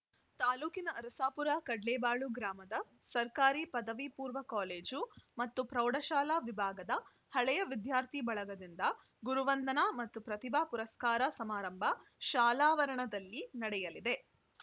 ತಾಲೂಕಿನ ಅರಸಾಪುರಕಡ್ಲೇಬಾಳು ಗ್ರಾಮದ ಸರ್ಕಾರಿ ಪದವಿ ಪೂರ್ವ ಕಾಲೇಜು ಮತ್ತು ಪ್ರೌಢಶಾಲಾ ವಿಭಾಗದ ಹಳೆಯ ವಿದ್ಯಾರ್ಥಿ ಬಳಗದಿಂದ ಗುರುವಂದನಾ ಮತ್ತು ಪ್ರತಿಭಾ ಪುರಸ್ಕಾರ ಸಮಾರಂಭ ಶಾಲಾವರಣದಲ್ಲಿ ನಡೆಯಲಿದೆ